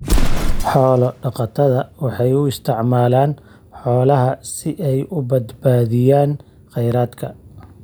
Xoolo-dhaqatada waxay u isticmaalaan xoolaha si ay u badbaadiyaan kheyraadka.